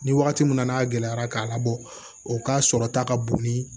Ni wagati min na n'a gɛlɛyara k'a labɔ o ka sɔrɔ ta ka bon ni